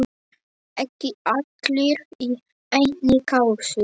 Ekki allir í einni kássu!